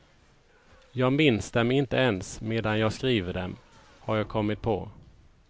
Jag minns dem inte ens medan jag skriver dem, har jag kommit på.